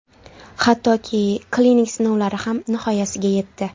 Hattoki klinik sinovlari ham nihoyasiga yetdi.